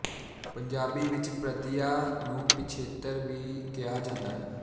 ਪੰਜਾਬੀ ਵਿੱਚ ਪ੍ਰਤਿਐ ਨੂੰ ਪਿਛੇਤਰ ਵੀ ਕਿਹਾ ਜਾਂਦਾ ਹੈ